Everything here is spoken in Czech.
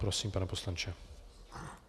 Prosím, pane poslanče.